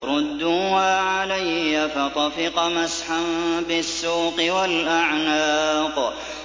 رُدُّوهَا عَلَيَّ ۖ فَطَفِقَ مَسْحًا بِالسُّوقِ وَالْأَعْنَاقِ